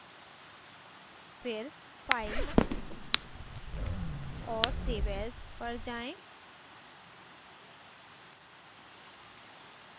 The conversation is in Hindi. फिर file और save as पर जाएँ